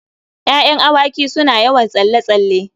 Ya'yan awaki suna yawan tsalle-tsalle.